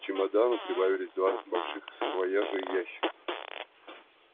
к чемодану прибавились два больших саквояжа и ящик